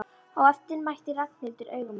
Á eftir mætti Ragnhildur augum hans.